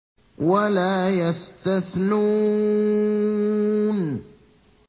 وَلَا يَسْتَثْنُونَ